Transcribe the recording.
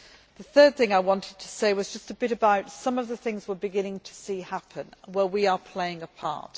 The third thing I wanted to say was just a bit about some of the things we are beginning to see happen and in which we are playing a